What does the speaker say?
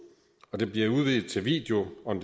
og at dette bliver udvidet til video on